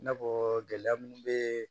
I n'a fɔ gɛlɛya mun be